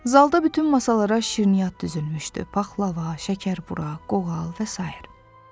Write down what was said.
Zalda bütün masalara şirniyyat düzülmüşdü: paxlava, şəkərbura, qoğal və sair.